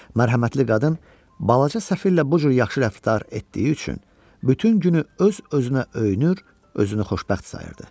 Mərhəmətli qadın balaca səfirlə bu cür yaxşı rəftar etdiyi üçün bütün günü öz-özünə öyünür, özünü xoşbəxt sayırdı.